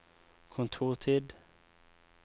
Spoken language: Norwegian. kontortid